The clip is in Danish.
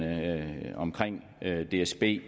at dsb